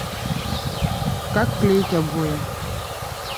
как клеить обои